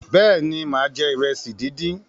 béèni má je iresi dín dín.